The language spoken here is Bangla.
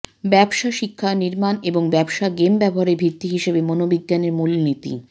ব্যবসা শিক্ষা নির্মাণ এবং ব্যবসা গেম ব্যবহারের ভিত্তি হিসেবে মনোবিজ্ঞানের মূলনীতি